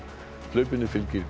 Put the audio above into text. hlaupinu fylgir